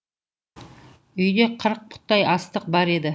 үйде қырық пұттай астық бар еді